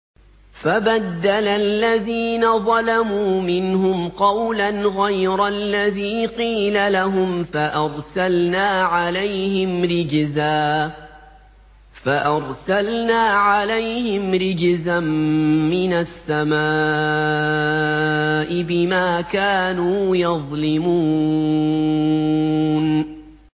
فَبَدَّلَ الَّذِينَ ظَلَمُوا مِنْهُمْ قَوْلًا غَيْرَ الَّذِي قِيلَ لَهُمْ فَأَرْسَلْنَا عَلَيْهِمْ رِجْزًا مِّنَ السَّمَاءِ بِمَا كَانُوا يَظْلِمُونَ